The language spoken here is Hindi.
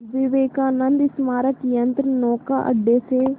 विवेकानंद स्मारक यंत्रनौका अड्डे से